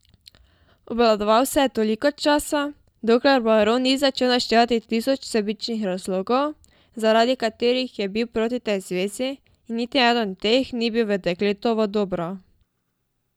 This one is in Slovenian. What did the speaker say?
Obvladoval se je toliko časa, dokler baron ni začel naštevati tisoč sebičnih razlogov, zaradi katerih je bil proti tej zvezi, in niti eden od teh ni bil v dekletovo dobro.